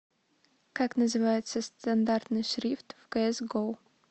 как называется стандартный шрифт в кс го